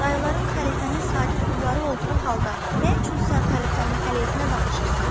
Dayıların xəlifənin sadiq qulları olduğu halda nə üçün sən xəlifənin əleyhinə danışırsan?